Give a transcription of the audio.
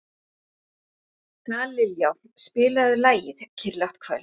Dallilja, spilaðu lagið „Kyrrlátt kvöld“.